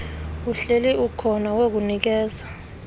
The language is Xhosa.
uhleli ukhona wokunikeza